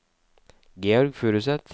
Georg Furuseth